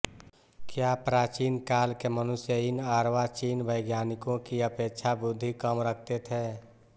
क्या प्राचीन काल के मनुष्य इन अर्वाचीन वैज्ञानिकों की अपेक्षा बुद्धि कम रखते थे